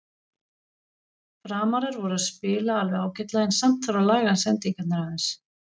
Framarar voru að spila alveg ágætlega en samt þarf að laga sendingarnar aðeins.